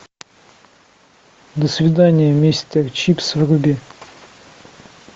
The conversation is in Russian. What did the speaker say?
до свидания мистер чипс вруби